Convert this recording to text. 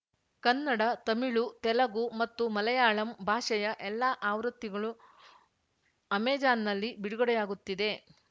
ಕನ್ನಡ ತಮಿಳು ತೆಲಗು ಮತ್ತು ಮಲಯಾಳಂ ಭಾಷೆಯ ಎಲ್ಲಾ ಆವೃತ್ತಿಗಳೂ ಅಮೆಜಾನ್‌ನಲ್ಲಿ ಬಿಡುಗಡೆಯಾಗುತ್ತಿದೆ